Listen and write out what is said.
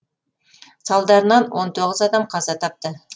салдарынан он тоғыз адам қаза тапты